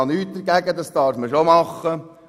Dagegen habe ich nichts.